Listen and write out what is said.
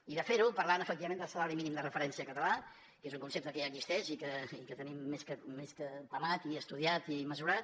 i de fer ho parlant efectivament del salari mínim de referència català que és un concepte que ja existeix i que tenim més que apamat i estudiat i mesurat